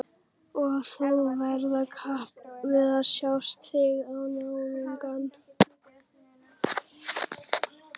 Og þú ferð í kapp við sjálfan þig og náungann.